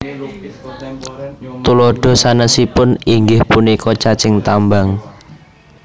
Tuladha sanesipun inggih punika cacing tambang